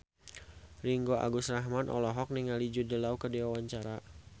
Ringgo Agus Rahman olohok ningali Jude Law keur diwawancara